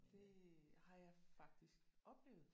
Det har jeg faktisk oplevet